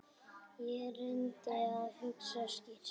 Ég reyndi að hugsa skýrt.